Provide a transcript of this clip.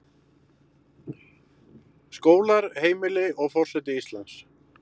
Skólar, heimili, og forseti Íslands.